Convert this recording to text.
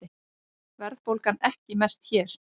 Verðbólgan ekki mest hér